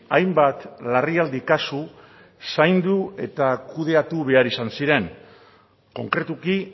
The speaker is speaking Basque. hainbat larrialdi kasu zaindu eta kudeatu behar izan ziren konkretuki